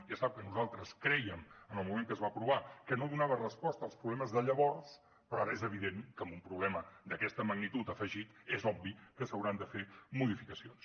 ja sap que nosaltres crèiem en el moment que es va aprovar que no donava resposta als problemes de llavors però ara és evident que amb un problema d’aquesta magnitud afegit és obvi que s’hauran de fer modificacions